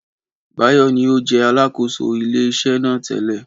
Báyọ̀ ní ó jẹ́ Alákóso ilé iṣẹ́ náà tẹ́lẹ̀